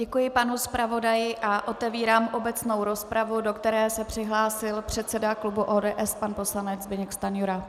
Děkuji panu zpravodaji a otevírám obecnou rozpravu, do které se přihlásil předseda klubu ODS pan poslanec Zbyněk Stanjura.